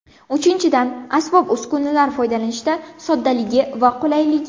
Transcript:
Uchinchidan , asbob-uskunalar foydalanishda soddaligi va qulayligi.